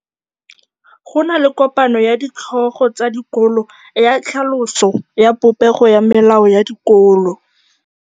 Go na le kopanô ya ditlhogo tsa dikolo ya tlhaloso ya popêgô ya melao ya dikolo.